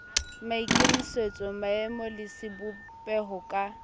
maikemisetso maemo le sebopeho ka